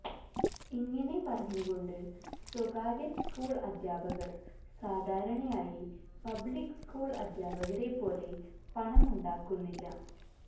ഇങ്ങനെ പറഞ്ഞുകൊണ്ട് സ്വകാര്യ സ്കൂൾ അദ്ധ്യാപകർ സാധാരണയായി പബ്ലിക് സ്കൂൾ അധ്യാപകരെ പോലെ പണമുണ്ടാക്കുന്നില്ല